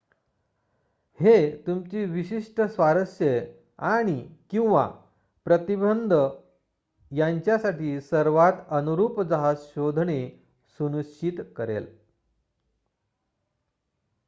हे तुमची विशिष्ट स्वारस्ये आणि/किंवा प्रतिबंध यांच्यासाठी सर्वात अनुरूप जहाज शोधणे सुनिश्चित करेल